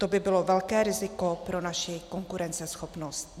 To by bylo velké riziko pro naši konkurenceschopnost.